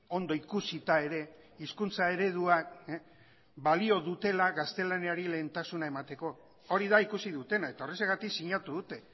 ondo ikusita ere hizkuntza ereduak balio dutela gaztelaniari lehentasuna emateko hori da ikusi dutena eta horrexegatik sinatu dute